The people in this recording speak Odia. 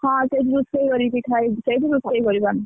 ହଁ, ସେଇଠି ରୋଷେଇ କରିକି ଖାଇବୁ ସେଇଠି ରୋଷେଇ କରିବୁ ଆମେ।